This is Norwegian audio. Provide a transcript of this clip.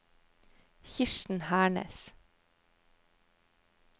Kirsten Hernes